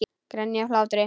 Grenja af hlátri.